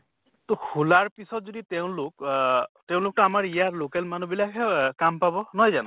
তʼ খোলাৰ পিছত যদি তেওঁলোক আহ তেওঁলোকতো আমাৰ ইয়াৰ local মানুহ বিলাকহে কাম পাব, নহয় জানো?